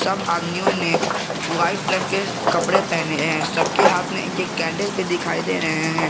सब आदमियों ने व्हाइट रंग के कपड़े पहने हैं सबके हाथ में एक एक कैंडल भी दिखाई दे रहे हैं।